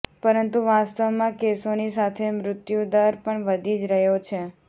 પરંતુ વાસ્તવમાં કેસોની સાથે મૃત્યુદર પણ વધી જ રહ્યો છે